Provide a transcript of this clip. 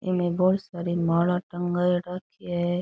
एमे बोली सारी माला टंगाए राखी है।